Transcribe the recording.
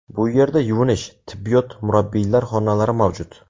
Bu yerda yuvinish, tibbiyot, murabbiylar xonalari mavjud.